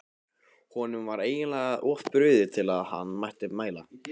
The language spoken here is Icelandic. Honum var eiginlega of brugðið til að hann mætti mæla.